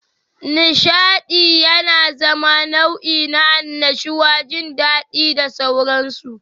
Nishaɗi yana zama nau'i na annashuwa, jin daɗi da sauransu.